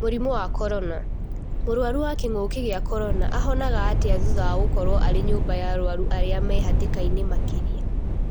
Mũrimũ wa Korona: Mũrũaru wa kĩng'ũki gĩa Korona ahonaga atĩa thutha wa gũkorwo arĩ nyũmba ya arũaru arĩa marĩ hatĩkainĩ makĩria?